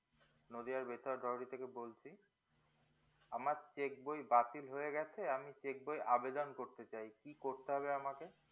নদিয়ার বেতার দোহরি থেকে বলছি আমার cheque বই বাতিল হয়ে গেছে আমি cheque বই আবেদন করতে চাই কি করতে হবে আমাকে